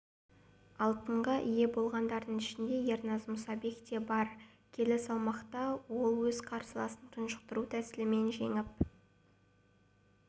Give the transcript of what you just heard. алтынға ие болғандардың ішінде ерназ мұсабек те бар келі салмақта ол өз қарсыласын тұншықтыру тәсілімен жеңіп